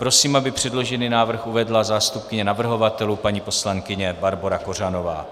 Prosím, aby předložený návrh uvedla zástupkyně navrhovatelů paní poslankyně Barbora Kořanová.